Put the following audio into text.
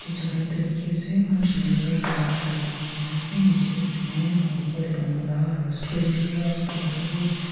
jaga ekta dikhi ase eman sunder para ghor ekta banai kena ase niche te cement aru opor te bamboo laa screen bi white dorbaja bi.